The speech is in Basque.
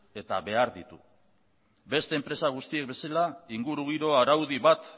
eta behar ditu beste enpresa guztiek bezala ingurugiro araudi bat